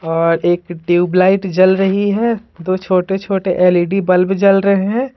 और एक tube light जल रही है दो छोटे-छोटे एलईडी बल्ब जल रहे हैं।